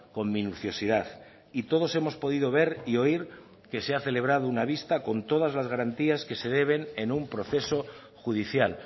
con minuciosidad y todos hemos podido ver y oír que se ha celebrado una vista con todas las garantías que se deben en un proceso judicial